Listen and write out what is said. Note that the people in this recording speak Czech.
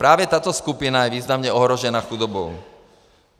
Právě tato skupina je významně ohrožena chudobou.